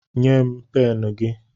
Nye m pen gị